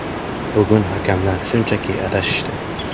Bugun hakamlar shunchaki adashishdi.